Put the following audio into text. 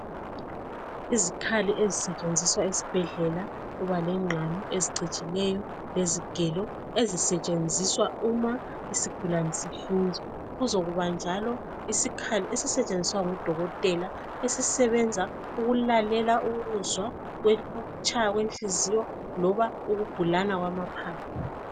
Izikhali ezisetshenziswa esibhedlela, kuba lenqhamu ecigileyo, lezigelo ezisetshenziswa uma isigulane sihlinzea kuzoluba njalo lesikhali esisetshenziswa ngudokotela ukulalela ukutshaya kwenhliziyo loba ukubhulana kwamaphapho.